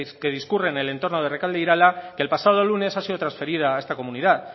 que discurre en el entorno de rekalde irala que el pasado lunes ha sido transferida a esta comunidad